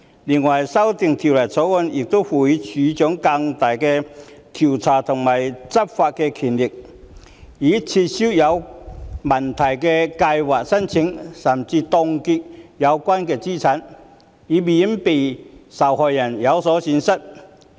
此外，修訂《條例草案》亦賦予職業退休計劃註冊處處長更大的調查權和執法權，以撤銷有問題的計劃申請甚至是凍結有關資產，以免受害人有所損失。